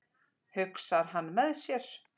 hugsar hann með sér.